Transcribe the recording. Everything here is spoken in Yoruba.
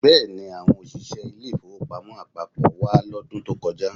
Bẹ́ẹ̀ni, àwọn òṣìṣẹ́ ilé-ìfowópamọ́ àpapọ̀ wá lọ́dún tó kọjá